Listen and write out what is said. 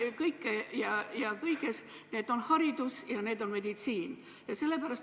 ... arvab teadvat nendest kõike – need on haridus ja meditsiin.